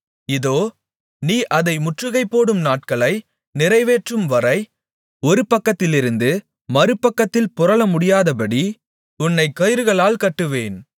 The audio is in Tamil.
இதோ நீ அதை முற்றுகைப்போடும் நாட்களை நிறைவேற்றும்வரை ஒரு பக்கத்திலிருந்து மறுபக்கத்தில் புரளமுடியாதபடி உன்னைக் கயிறுகளால் கட்டுவேன்